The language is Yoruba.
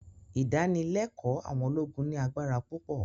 Ìdánilẹ́kọ̀ọ́ àwọn ológun ní agbára púpọ̀